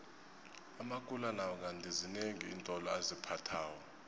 amakula nawo kandi zinengi iintolo aziphathako